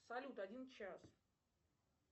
салют один час